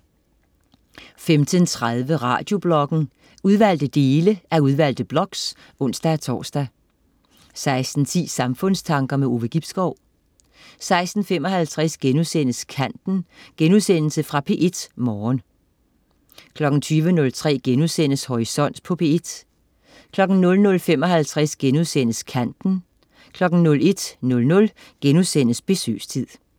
15.30 Radiobloggen. Udvalgte dele af udvalgte blogs (ons-tors) 16.10 Samfundstanker. Ove Gibskov 16.55 Kanten.* Genudsendelse fra P1 Morgen 20.03 Horisont på P1* 00.55 Kanten* 01.00 Besøgstid*